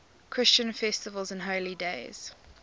christian festivals and holy days